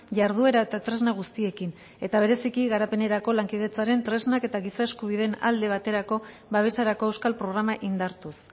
jarduera eta tresna guztiekin eta bereziki garapenerako lankidetzaren tresnak eta giza eskubideen alde baterako babeserako euskal programa indartuz